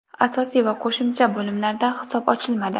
Asosiy va qo‘shimcha bo‘limlarda hisob ochilmadi.